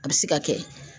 A bɛ se ka kɛ